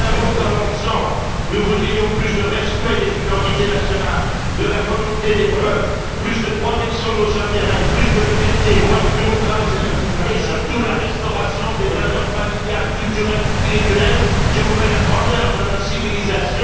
En un mot comme en cent, nous voudrions plus de respect des identités nationales, de la volonté des peuples, plus de protection de nos intérêts, plus de liberté, moins de bureaucratie et, surtout, la restauration des valeurs familiales, culturelles, spirituelles qui ont fait la grandeur de notre civilisation.